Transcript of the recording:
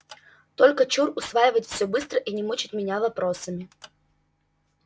только чур усваивать все быстро и не мучить меня вопросами